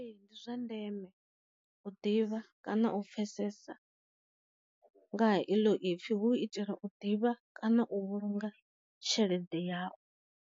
Ee ndi zwa ndeme u ḓivha kana u pfhesesa nga ha i ḽo ipfi hu u i tela u ḓivha kana u vhulunga tshelede yawu.